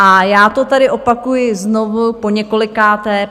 A já to tady opakuji znovu poněkolikáté.